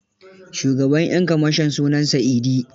Shugaban 'yan kamashon sunansa Idi.